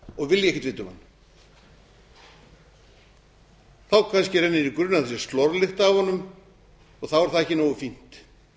ekkert vita um hann þá kannski rennir í grun að það sé slorlykt af honum þá er það ekki nógu fínt